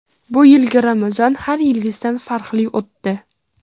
Bu yilgi Ramazon har yilgisidan farqli o‘tdi.